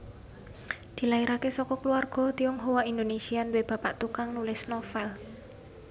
Dilairaké saka kulawarga Tionghoa Indonesia duwé bapak tukang nulis novèl